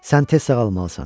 Sən tez sağalmalısan.